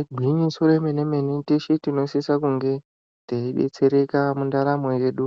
Igwinyiso remene mene teshe tinosisa kunge teidetsereka mundaramo yedu